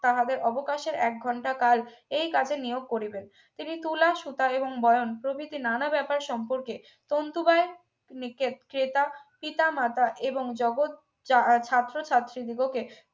তাহাদের অবকাশের এক ঘন্টা কাল এই কাজে নিয়োগ করিবেন তিনি তুলা সুতা এবং বয়ান প্রভৃতি নানা ব্যাপার সম্পর্কে তন্তু বাইয়ের নিকট ক্রেতা পিতা মাতা এবং জগত ছাত্রছাত্রী দিগকে